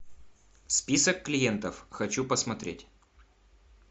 список клиентов хочу посмотреть